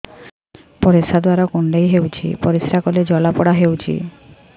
ପରିଶ୍ରା ଦ୍ୱାର କୁଣ୍ଡେଇ ହେଉଚି ପରିଶ୍ରା କଲେ ଜଳାପୋଡା ହେଉଛି